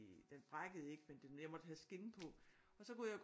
Den brækkede ikke men jeg måtte have skinne på og så kunne jeg